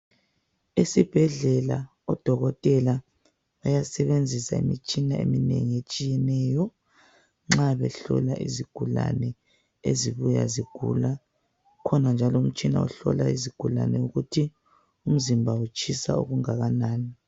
Esibhedlela odokotela bayasebenzisa imitshina eminengi etshiyeneyo nxa behlola izigulane ezibuya zigula. Ukhona njalo umtshina ohlola izigulane ukuthi umzimba utshisa okungakanani